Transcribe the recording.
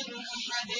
مِّنْ أَحَدٍ